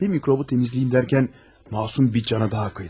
Bir mikrobu temizleyeyim derken, masum bir cana daha kıydım.